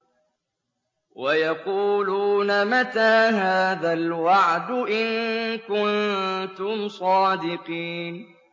وَيَقُولُونَ مَتَىٰ هَٰذَا الْوَعْدُ إِن كُنتُمْ صَادِقِينَ